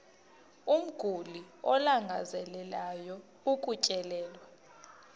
umguli alangazelelayo ukutyelelwa